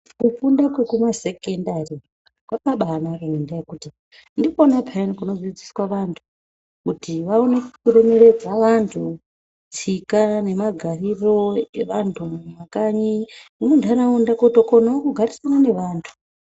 Kufunda kwekumasekendari kwakabaanaka ngendaa yekuti ndikona peyaa kunodzidziswa vanthu kuti vaone kuremeredza vanthu tsika nemagariro evanthu mumakanyi nemuntharaunda kutokonao kugarisana nevanthu.